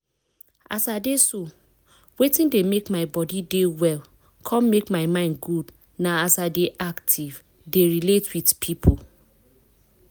as i dey so wetin dey make my body dey well con make my mind good na as i dey active dey relate with people.